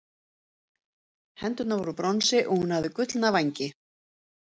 hendurnar voru úr bronsi og hún hafði gullna vængi